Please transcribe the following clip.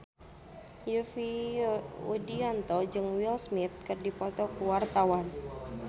Yovie Widianto jeung Will Smith keur dipoto ku wartawan